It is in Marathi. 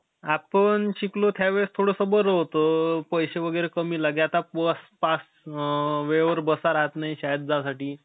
आपण शिकलो, त्या वेळेस थोडंसं बरं होतं. पैसे वगैरे कमी लागे. आता बस पास, वेळेवर बसा राहत नाही शाळेला जायसाठी.